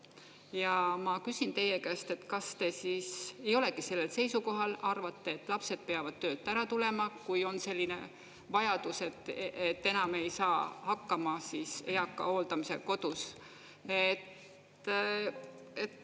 Ja ma küsin teie käest, kas te siis ei olegi sellel seisukohal, arvate, et lapsed peavad töölt ära tulema, kui on selline vajadus, et enam ei saa hakkama eaka hooldamisega kodus?